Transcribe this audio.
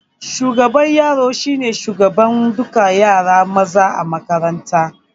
Shugaban yaro shine shugaban dukan yara maza a makaranta